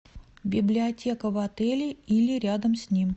библиотека в отеле или рядом с ним